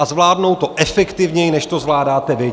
A zvládnou to efektivněji, než to zvládáte vy.